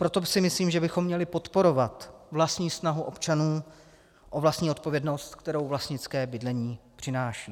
Proto si myslím, že bychom měli podporovat vlastní snahu občanů o vlastní odpovědnost, kterou vlastnické bydlení přináší.